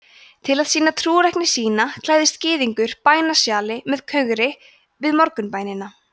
til að sýna trúrækni sína klæðist gyðingur bænasjali með kögri við morgunbænina